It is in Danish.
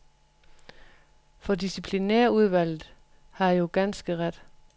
For disciplinærudvalget har jo ganske ret.